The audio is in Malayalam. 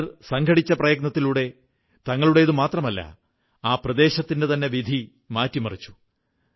അവർ ഒത്തൊരുമിച്ച പ്രയത്നത്തിലൂടെ തങ്ങളുടേതു മാത്രമല്ല ആ പ്രദേശത്തിന്റെതന്നെ വിധി മാറ്റിമറിച്ചു